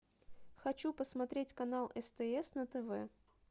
хочу посмотреть канал стс на тв